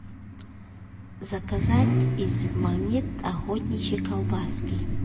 заказать из магнит охотничьи колбаски